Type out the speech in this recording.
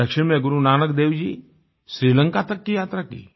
दक्षिण में गुरुनानक देव जी श्रीलंका तक की यात्रा की